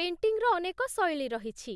ପେଣ୍ଟିଂର ଅନେକ ଶୈଳୀ ରହିଛି,